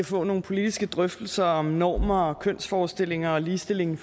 få nogle politiske drøftelser om normer og kønsforestillinger og ligestilling